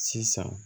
Sisan